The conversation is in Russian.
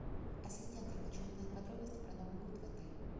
ассистент я хочу узнать подробности про новый год в отеле